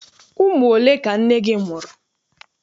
Ụmụ ole ka nne gị mụrụ?